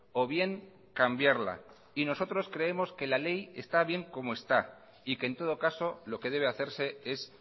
o bien cambiarla y nosotros creemos que la ley está bien como está y que en todo caso lo que debe hacerse es